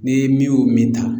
Ni min y'o min ta